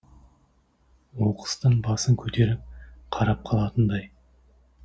оқыстан басын көтеріп қарап қалатындай